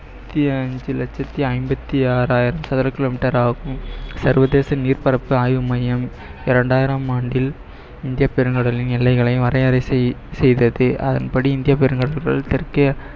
லட்சத்தி ஐம்பத்தி ஆறாயிரம் சதுர kilometer ஆகும் சர்வதேச நீர் பரப்பு ஆய்வு மையம் இரண்டாயிரம் ஆண்டில் இந்திய பெருங்கடலின் எல்லைகளை வரையறை செய்~ செய்தது அதன்படி இந்திய பெருங்கடல்கள் தெற்கே